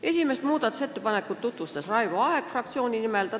Esimest muudatusettepanekut tutvustas fraktsiooni nimel Raivo Aeg.